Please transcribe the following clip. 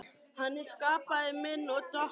Hann er skapari minn og Drottinn.